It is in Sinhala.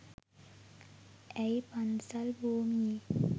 ඇය පන්සල් භූමියේ